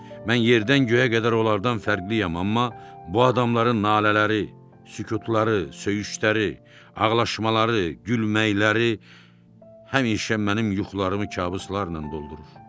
Mən yerdən göyə qədər onlardan fərqliyəm, amma bu adamların nalələri, sükutları, söyüşləri, ağlaşmaları, gülməkləri həmişə mənim yuxularımı kabuslarla doldurur.